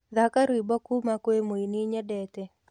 thaka rwĩmbo kũma kwi mũĩnĩ nyendete